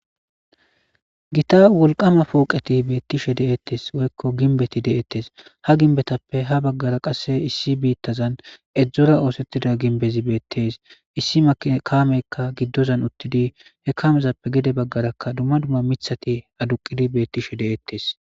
Gita wolqama pooqeti beettishe de7ettes woykko ginbeti de7ettes ha ginbetappe ha baggara qasse issi biittazan edzdzora oosettida ginbezi beettes issi mkameykka giddozan uttidi he kaamezappe gede baggarakka dumma dumma mithati aduqidi beettishe deettes